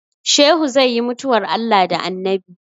Shehu zai yi mutuwar Allah da Annabi